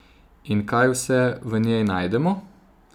In kaj vse v njej najdemo?